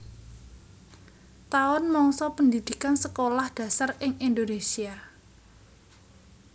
Taun mangsa pendhidhikan Sekolah Dasar ing Indonésia